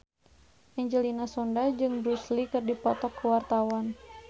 Angelina Sondakh jeung Bruce Lee keur dipoto ku wartawan